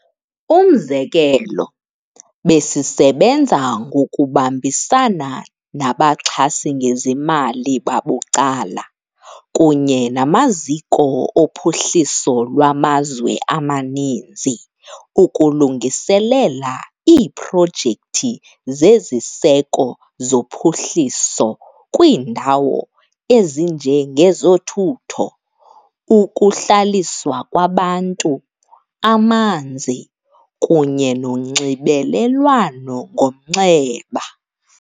Umzekelo, besisebenza ngokubambisana nabaxhasi ngezimali babucala kunye namaziko ophuhliso lwamazwe amaninzi ukulungiselela iiprojekthi zeziseko zophuhliso kwiindawo ezinje ngezothutho, ukuhlaliswa kwabantu, amanzi kunye nonxibelelwano ngomnxeba.